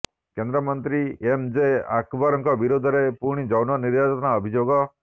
କେନ୍ଦ୍ରମନ୍ତ୍ରୀ M J ଆକବରଙ୍କ ବିରୋଧରେ ପୁଣି ଯୌନ ନିର୍ଯାତନା ଅଭିଯୋଗ